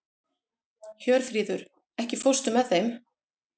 Hjörfríður, ekki fórstu með þeim?